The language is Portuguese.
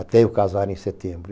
Até eu casar em setembro.